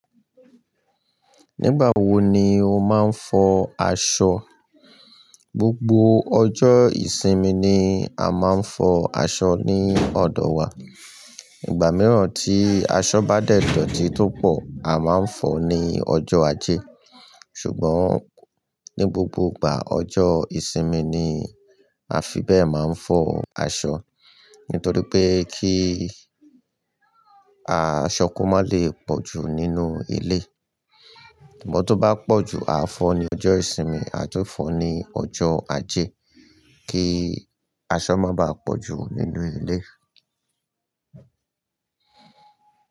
Nígbà wo ni o máa ń fọ aṣọ? Gbogbo ọjọ́ ìsinmi ni a máa ń fọ aṣọ ní ọ̀dọ̀ wa. Ìgbà mìíràn tí aṣọ bá dẹ̀ dọtí tó pọ̀, a máa ń fọ ní ọjọ́ ajé. Ṣùgbọ́n ní gbogbo ìgbà ọjọ́ ìsinmi ni a fi bẹ́ẹ̀ máa ń fọ aṣọ. Nítorí pé kí aṣọ kó má lè pọ̀jù nínú ilé. Ṣùgbọ́n tó bá pọ̀jù, a fọ ní ọjọ́ ìsinmi a tún fọ ní ọjọ́ ajé, kí aṣọ má bá pọ̀jù nínú ilé.